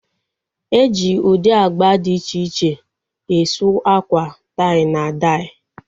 E ji ụdị agba dị iche iche e suu akwa tai na dai